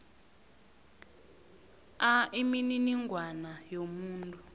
a imininingwana yomuntu